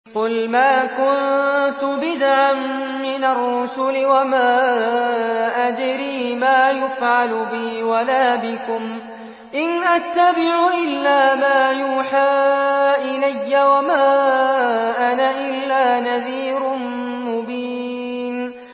قُلْ مَا كُنتُ بِدْعًا مِّنَ الرُّسُلِ وَمَا أَدْرِي مَا يُفْعَلُ بِي وَلَا بِكُمْ ۖ إِنْ أَتَّبِعُ إِلَّا مَا يُوحَىٰ إِلَيَّ وَمَا أَنَا إِلَّا نَذِيرٌ مُّبِينٌ